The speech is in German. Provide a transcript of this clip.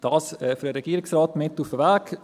Dies für den Regierungsrat mit auf den Weg.